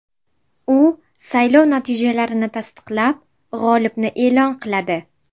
U saylov natijalarini tasdiqlab, g‘olibni e’lon qiladi.